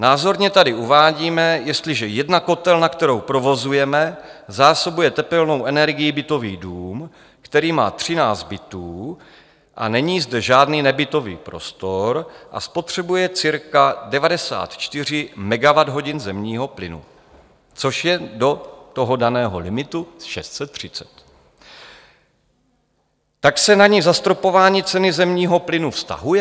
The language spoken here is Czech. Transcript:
Názorně tady uvádíme, jestliže jedna kotelna, kterou provozujeme, zásobuje tepelnou energií bytový dům, který má 13 bytů a není zde žádný nebytový prostor a spotřebuje cirka 94 MWh zemního plynu, což je do toho daného limitu 630, tak se na ni zastropování ceny zemního plynu vztahuje?